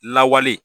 Lawale